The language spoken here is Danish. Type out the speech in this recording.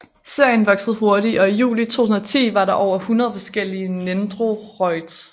Serien voksede hurtigt og i juli 2010 var der over 100 forskellige nendoroids